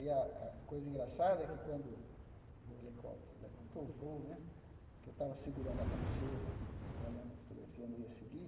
E a a coisa engraçada é que, quando o helicóptero levantou o voo né, que eu estava segurando a prancheta aqui com, olhando a fotografia onde eu ia seguir,